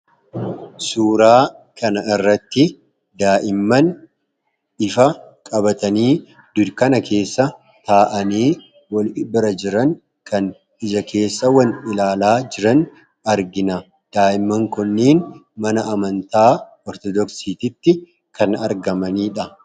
Suuraa kana irratti daa'imman ifa qabatanii dukkana keessa taa'anii wal bira jiran kan ija keessa wal ilaalaa jiran argina. Daa'imman kanneen mana amantaa ortodoksiittti kan argamaniidha.